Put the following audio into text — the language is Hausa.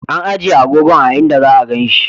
An ijiye agogon a'inda za'a ganin shi.